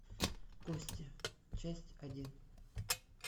кости часть один